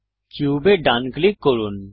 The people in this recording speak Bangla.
কিউবে ডান ক্লিক করুন